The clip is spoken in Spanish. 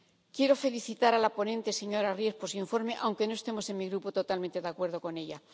Quiero felicitar a la ponente, señora Ries, por su informe, aunque no estemos en mi Grupo totalmente de acuerdo con ella.